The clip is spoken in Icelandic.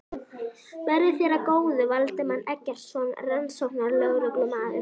Verði þér að góðu, Valdimar Eggertsson rannsóknarlögreglumaður.